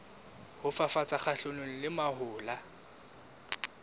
ho fafatsa kgahlanong le mahola